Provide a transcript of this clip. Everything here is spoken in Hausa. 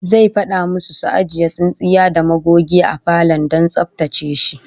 Zai fada musu su ajiye tsintsiya da magogi a falon don tsaftace shi